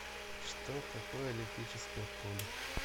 что такое электрическое поле